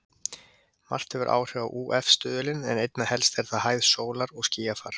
Margt hefur áhrif á ÚF-stuðulinn en einna helst er það hæð sólar og skýjafar.